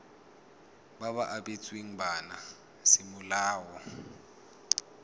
ba ba abetsweng bana semolao